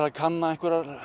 að kanna